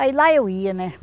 Aí lá eu ia, né?